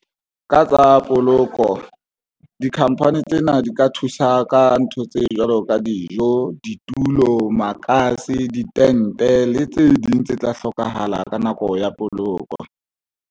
Ka tsa poloko di-company tsena di ka thusa ka ntho tse jwalo ka dijo, ditulo, makase, ditente le tse ding tse tla hlokahala ka nako ya poloko.